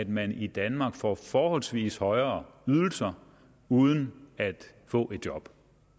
man i danmark får forholdsvis højere ydelser uden at få et job